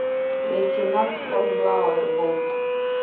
лейтенант хорнблауэр бунт